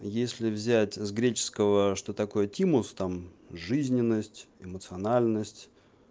а если взять с греческого что такое тимус там жизненность эмоциональность